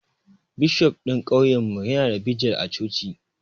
Bishof ɗin kauyen mu ya na bijil a coci